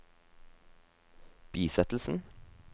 bisettelsen